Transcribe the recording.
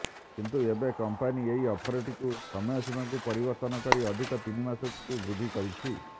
କିନ୍ତୁ ଏବେ କଂପାନୀ ଏହି ଅଫରଟିର ସମୟ ସୀମାକୁ ପରିବର୍ତ୍ତନ କରି ଅଧିକ ତିନି ମାସକୁ ବୃଦ୍ଧି କରିଛି